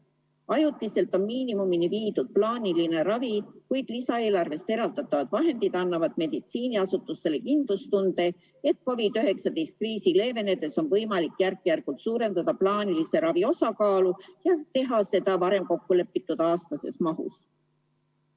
Ajutiselt on miinimumini viidud plaaniline ravi, kuid lisaeelarvest eraldatavad vahendid annavad meditsiiniasutustele kindlustunde, et COVID-19 kriisi leevenedes on võimalik järk-järgult suurendada plaanilise ravi osakaalu ja teha seda varem kokkulepitud aastases mahus.